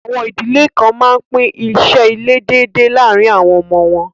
Àwọn idílẹ̀ kàn mán pín ìṣẹ̀ ilẹ̀ dẹ̀dẹ lárìn àwọn ọmọ wọn.